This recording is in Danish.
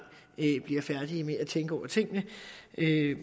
bliver færdige med at tænke over tingene